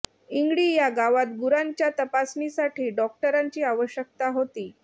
इंगळी या गावात गुरांच्या तपासणीसाठी डॉक्टरांची आवश्यकता होती